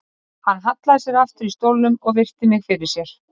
Hann hallaði sér aftur í stólnum og virti mig fyrir sér.